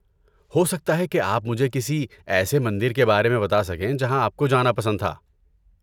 ہو سکتا ہے کہ آپ مجھے کسی ایسے مندر کے بارے میں بتا سکیں جہاں آپ کو جانا پسند تھا۔